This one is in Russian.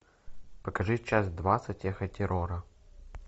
покажи час двадцать эхо терора